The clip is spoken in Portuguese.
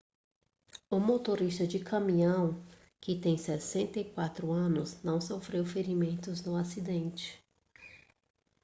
o motorista de caminhão que tem 64 anos não sofreu ferimentos no acidente